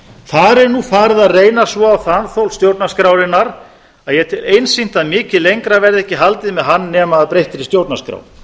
þar er nú farið að reyna svo á þanþol stjórnarskrárinnar að ég tel einsýnt að öllu lengra verði ekki haldið með hann nema að breyttri stjórnarskrá